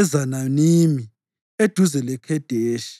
eZananimi eduze leKhedeshi.